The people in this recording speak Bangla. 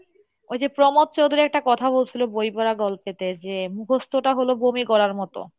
ওইযে প্রমোদ চৌধুরী একটা কথা বলছিলো বই পরা গল্পে তে তে যে মুখস্ত টা হলো বমি করার মতো